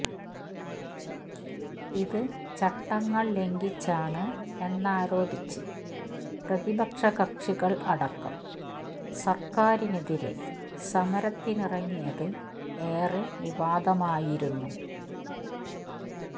ഇത് ചട്ടങ്ങൾ ലംഘിച്ചാണ് എന്നാരോപിച്ച് പ്രതിപക്ഷ കക്ഷികൾ അടക്കം സർക്കാരിനെതിരെ സമരത്തിനിറങ്ങിയത് ഏറെ വിവാദമായിരുന്നു